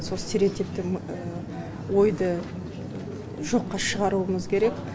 сол стереотипті ойды жоққа шығаруымыз керек